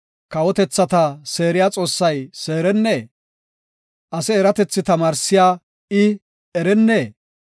Kawotethata seeriya Xoossay seerennee? Ase eratethi tamaarsiya i, erennee?